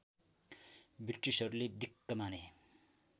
ब्रिटिसहरूले दिक्क माने